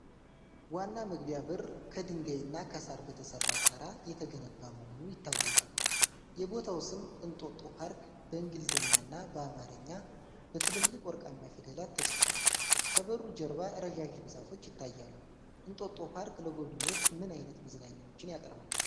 ዋና መግቢያ በር ከድንጋይና ከሳር በተሰራ ጣራ የተገነባ መሆኑ ይታወቃል። የቦታው ስም "እንጦጦ ፓርክ" በእንግሊዝኛና በአማርኛ በትልልቅ ወርቃማ ፊደላት ተጽፏል። ከበሩ ጀርባ ረዣዥም ዛፎች ይታያሉ። እንጦጦ ፓርክ ለጎብኚዎች ምን ዓይነት መዝናኛዎች ያቀርባል?